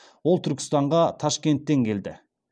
ол түркістанға ташкенттен келді